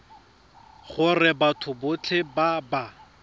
go batho botlhe ba ba